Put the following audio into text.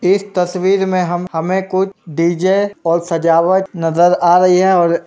इस तस्वीर में हम हमें कुछ डीजे और सजावट नजर आ रही है और --